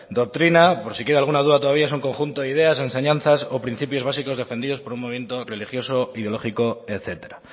doctrina por si queda alguna duda todavía es un conjunto de ideas enseñanzas o principios básicos defendidos por un movimiento religioso ideológico etcétera